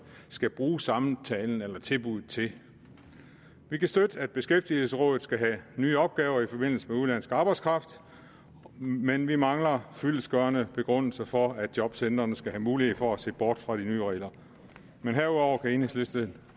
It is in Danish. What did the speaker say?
skal bruge samtalen eller tilbuddet til vi kan støtte at beskæftigelsesrådet skal have nye opgaver i forbindelse med udenlandsk arbejdskraft men vi mangler fyldestgørende begrundelser for at jobcentrene skal have mulighed for at se bort fra de nye regler men herudover kan enhedslisten